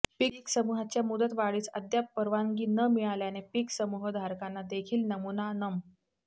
पीक समूहाच्या मुदत वाढीस अद्याप परवानगी न मिळाल्याने पीक समूह धारकांना देखील नमुना नं